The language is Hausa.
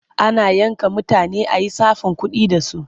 Ana yanka mutane a yi tsafin kuɗi da su.